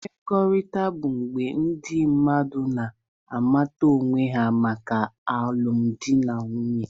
Mkpakọrịta bụ mgbe ndị mmadụ na-amata onwe ha maka alụmdi na nwunye.